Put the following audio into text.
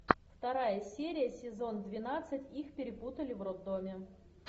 вторая серия сезон двенадцать их перепутали в роддоме